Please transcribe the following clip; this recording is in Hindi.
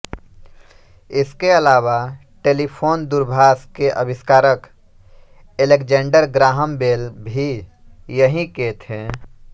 इसके अलावा टेलीफ़ोनदूरभाष के आविष्कारक ऐलेक्ज़ैंडर ग्राहम बेल भी यहीं के थे